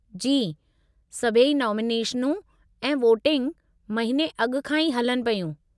जी, सभई नामिनेशनूं ऐं वोटिंग महीने अॻु खां ई हलनि पियूं।